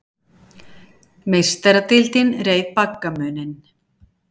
Meistaradeildin reið baggamuninn